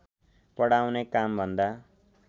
पढाउने कामभन्दा